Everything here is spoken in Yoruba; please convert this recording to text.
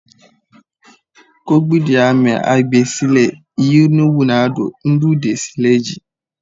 Kọgbidinamẹ hagbẹ ṣie lẹ yinuwado nudide ṣie lẹ ji